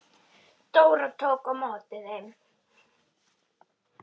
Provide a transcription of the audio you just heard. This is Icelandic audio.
Dóra tók á móti þeim.